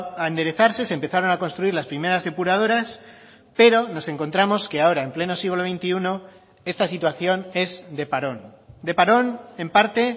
a enderezarse se empezaron a construir las primeras depuradoras pero nos encontramos que ahora en pleno siglo veintiuno esta situación es de parón de parón en parte